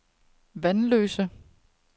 Vanløse